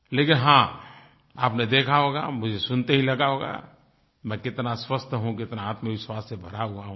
लेकिन हाँ आपने देखा होगा मुझे सुनते ही लगा होगा मैं कितना स्वस्थ हूँ कितना आत्मविश्वास से भरा हुआ हूँ